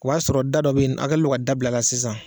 O y'a sɔrɔ da dɔ bɛ yen, kalen don ka dabil'a la sisan.